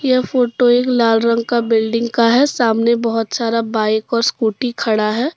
यह फोटो एक लाल रंग का बिल्डिंग का है सामने बहोत सारा बाइक और स्कूटी खड़ा हैं।